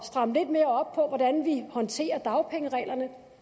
stramme lidt mere op på hvordan vi håndterer dagpengereglerne for